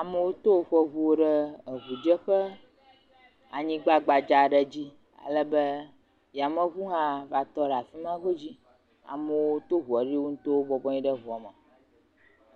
Amewo to woƒe eŋuwo ɖe eŋudzeƒe anyigba gbdza aɖe dzi ale be yameŋu hã va tɔ ɖe afi ma godzi. Amewo to ŋua ɖi wo ŋutɔwo bɔbɔnɔ anyi ɖe ŋua me.